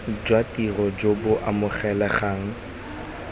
jwa tiro jo bo amogelegang